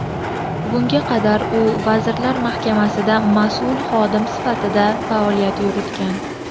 Bunga qadar u Vazirlar Mahkamasida mas’ul xodim sifatida faoliyat yuritgan.